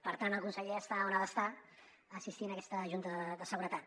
per tant el conseller està on ha d’estar assistint a aquesta junta de seguretat